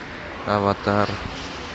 аватар